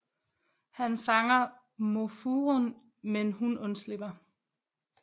Han fanger Mofurun men hun undslipper